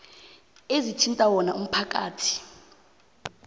ezithinta wona umphakathi